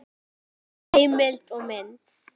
Heimild og mynd